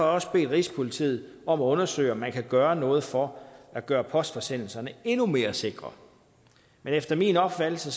også bedt rigspolitiet om at undersøge om man kan gøre noget for at gøre postforsendelserne endnu mere sikre men efter min opfattelse